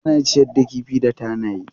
Ana ciyar da kifi da tanaye.